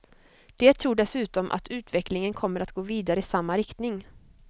De tror dessutom att utvecklingen kommer att gå vidare i samma riktning.